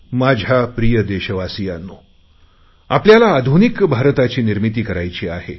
माझ्या प्रिय देशवासियांनो आपल्याला आधुनिक भारताची निर्मिती करायची आहे